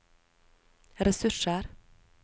ressurser